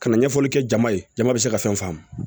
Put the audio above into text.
Ka na ɲɛfɔli kɛ jama ye jama bɛ se ka fɛn faamu